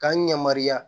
K'an yamaruya